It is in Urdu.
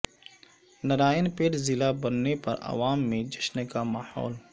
نارائن پیٹ ضلع بننے پر عوام میں جشن کا ماحول